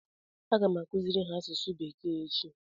Aga m akụziri ha asụsụ bekee echi